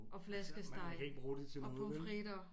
Og flæskesteg og pommes frites